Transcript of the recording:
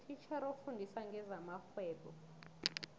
utitjhere ofundisa ngezamarhwebo